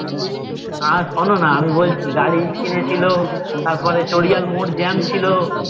আর শোনো না আমি বলছি গাড়ি কিনেছিলো তারপর চরিয়াল মোর jam ছিল